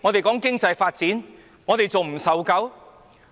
談經濟發展，我們還未受夠嗎？